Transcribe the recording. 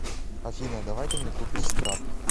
афина давай ты мне купишь скраб